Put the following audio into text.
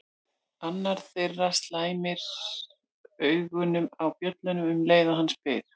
Annar þeirra slæmir augunum á bjölluna um leið og hann spyr